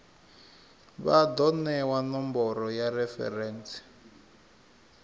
vha do newa nomboro ya referentsi